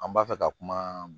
An b'a fɛ ka kuma